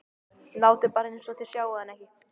Látið bara eins og þið sjáið hann ekki.